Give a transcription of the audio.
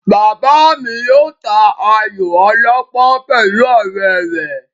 Bàbá mi yóò ta ayò ọlọ́pọ́n pẹ̀lú ọ̀rẹ́ rẹ̀